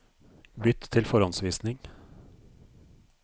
Bytt til forhåndsvisning